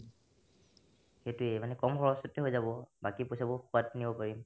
সেটোয়ে মানে কম খৰচতে হৈ যাব বাকী পইচাবোৰ খোৱাত কিনিব পাৰিম